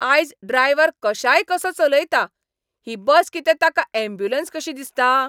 आयज ड्रायव्हर कशायकसो चलयता. ही बस कितें ताका ऍम्ब्युलंस कशी दिसता?